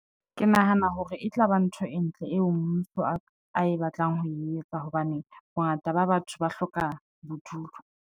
Ke nahana hore e tlaba ntho e ntle eo mmuso ae batlang ho e etsa, hobane bongata ba batho ba hloka bodulo.